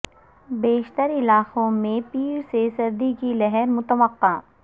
بیشتر علاقوں میں پیر سے سردی کی لہر متوقع